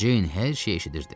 Ceyn hər şeyi eşidirdi.